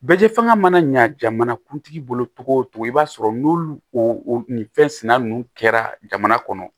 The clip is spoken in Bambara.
Bɛ fanga mana ɲa jamana kuntigi bolo togo togo i b'a sɔrɔ n'olu fɛnsɛnna ninnu kɛra jamana kɔnɔ